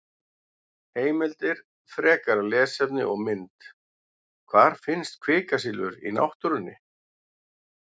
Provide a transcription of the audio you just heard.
Heimildir, frekara lesefni og mynd: Hvar finnst kvikasilfur í náttúrunni?